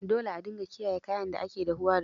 Dole a dinga kiyaye kayan da ake dahuwa da su.